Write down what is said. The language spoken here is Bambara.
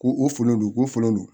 Ko o folon do ko folo don